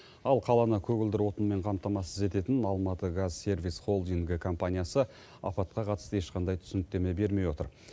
ал қаланы көгілдір отынмен қамтамасыз ететін алматыгазсервис холдинг компаниясы апатқа қатысты ешқандай түсініктеме бермей отыр